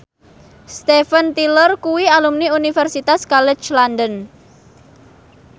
Steven Tyler kuwi alumni Universitas College London